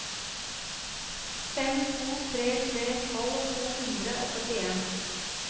fem to tre tre tolv to hundre og førtien